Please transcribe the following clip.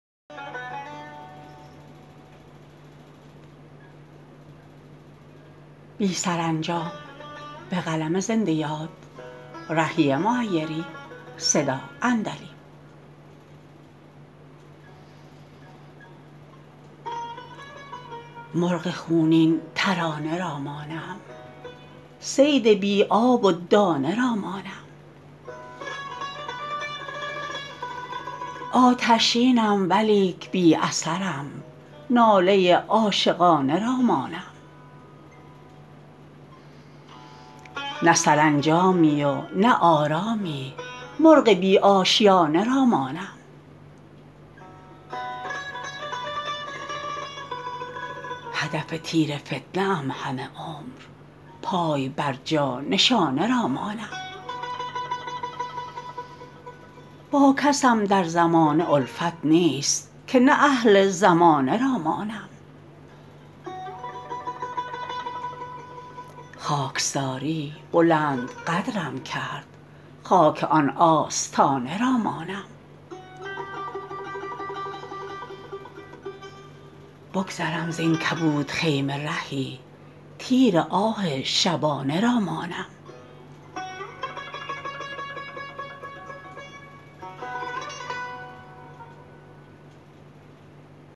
مرغ خونین ترانه را مانم صید بی آب و دانه را مانم آتشینم ولیک بی اثرم ناله عاشقانه را مانم نه سرانجامی و نه آرامی مرغ بی آشیانه را مانم هدف تیر فتنه ام همه عمر پای بر جا نشانه را مانم با کسم در زمانه الفت نیست که نه اهل زمانه را مانم خاکساری بلند قدرم کرد خاک آن آستانه را مانم بگذرم زین کبود خیمه رهی تیر آه شبانه را مانم